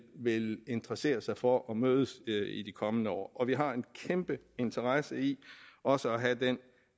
vil interessere sig for at mødes de kommende år og vi har en kæmpe interesse i også at have den